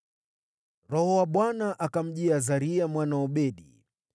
Roho wa Bwana akamjia Azaria mwana wa Odedi.